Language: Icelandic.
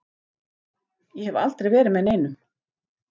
Ég hef aldrei verið með neinum.